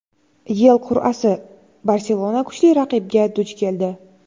YeL qur’asi: "Barselona" kuchli raqibga duch keldi.